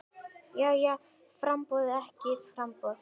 Jæja framboð eða ekki framboð?